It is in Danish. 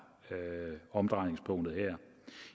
omdrejningspunktet her